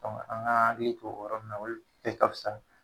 An ga hakili to yɔrɔ munnu na, olu ka bisa